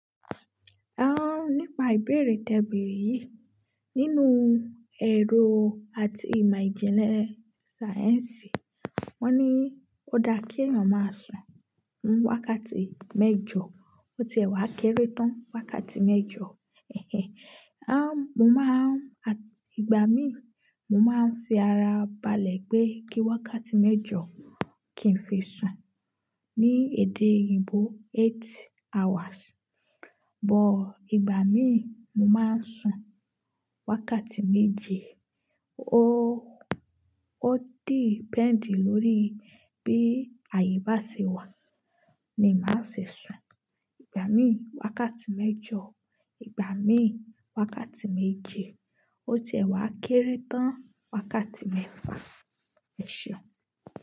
Ẹ́hn nípa ìbéèrè tẹ béèrè yìí. Nínú ẹ̀rọ àti ìmọ̀ ìjìnlẹ̀ sáyẹ̀nsì wọ́n ní ó dá kí ẹ̀yàn máa sùn wákàtí mẹ́jọ, ó ti ẹ̀wá kéré tán wákàtí mẹ́jọ. Ẹ̀hẹ́n. Aáàn, mo máa a, ìgbà mí, mo máa ń fi ara balẹ̀ pé kí wákàtí mẹ́jọ kì í fi sùn. Ni èdè òyìnbó eight hours. But ìgbà mí, mo máa ń sùn wákàtí méje. O ó dì depend lórí bí àyè bá ṣe wà ni màá ṣe sùn. Ìgbà mí wákàtí mẹ́jọ, ìgbà mí wákàtí méje. Ó ti ẹ̀wá kéré tán wákàtí mẹ́fà. Ẹ̀ṣẹ̀